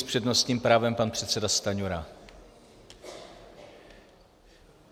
S přednostním právem pan předseda Stanjura.